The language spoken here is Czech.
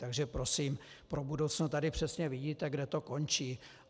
Takže prosím pro budoucno, tady přesně vidíte, kde to končí.